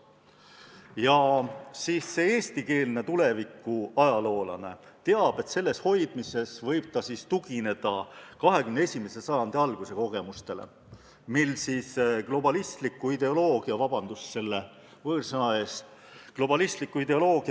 Ja see eestikeelne tulevikuajaloolane teab, et eesti keele hoidmisel võib ta tugineda 21. sajandi alguse kogemustele, kui globalistliku ideoloogia – vabandust võõrsõnade eest!